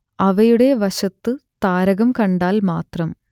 അവയുടെ വശത്ത് താരകം കണ്ടാൽ മാത്രം